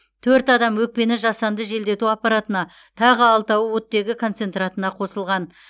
төрт адам өкпені жасанды желдету аппаратына тағы алтауы оттегі концентраторына қосылған